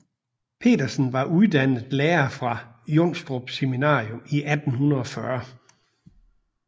Petersen var uddannet lærer fra Jonstrup Seminarium i 1840